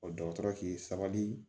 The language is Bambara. dɔgɔtɔrɔ k'i sabali